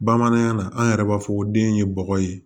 Bamanankan na an yɛrɛ b'a fɔ ko den ye bɔgɔ ye